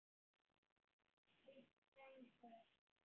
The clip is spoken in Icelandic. Hvít sængur